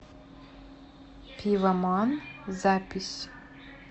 пивоман запись